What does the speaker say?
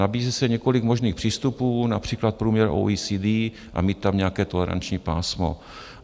Nabízí se několik možných přístupů, například průměr OECD, a mít tam nějaké toleranční pásmo.